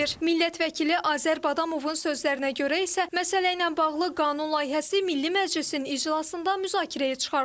Millət vəkili Azər Badamovun sözlərinə görə isə məsələ ilə bağlı qanun layihəsi Milli Məclisin iclasında müzakirəyə çıxarılıb.